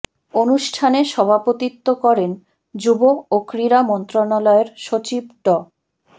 অনুষ্ঠানে সভাপতিত্ব করেন যুব ও ক্রীড়া মন্ত্রণালয়ের সচিব ড